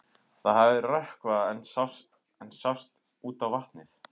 Það hafði rökkvað en samt sást út á vatnið.